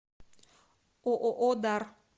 ооо дар